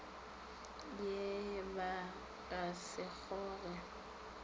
ye ba ka se kgoge